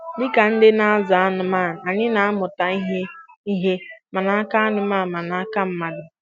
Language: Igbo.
Dịka ndị na-azụ anụmanụ, anyị na-amụta ihe ihe ma n'aka anụmanụ ma n'aka mmadụ